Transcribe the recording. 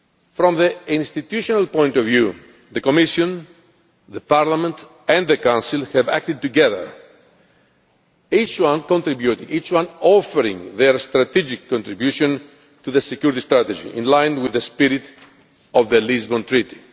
From the institutional point of view, the Commission, Parliament and the Council have acted together, with each one offering their strategic contribution to the security strategy in line with the spirit of the Lisbon Treaty.